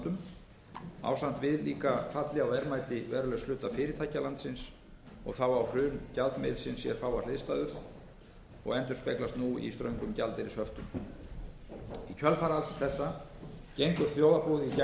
falli á verðmæti verulegs hluta fyrirtækja landsins þá á hrun gjaldmiðilsins á sér fáar hliðstæður og endurspeglast nú í ströngum gjaldeyrishöftum í kjölfar alls þessa gengur þjóðarbúið í gegnum dýpri efnahagslægð